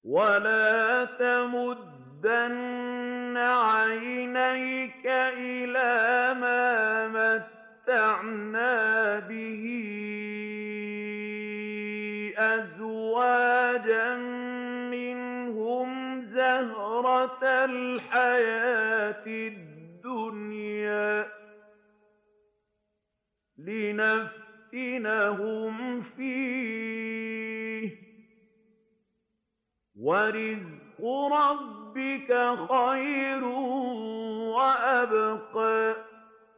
وَلَا تَمُدَّنَّ عَيْنَيْكَ إِلَىٰ مَا مَتَّعْنَا بِهِ أَزْوَاجًا مِّنْهُمْ زَهْرَةَ الْحَيَاةِ الدُّنْيَا لِنَفْتِنَهُمْ فِيهِ ۚ وَرِزْقُ رَبِّكَ خَيْرٌ وَأَبْقَىٰ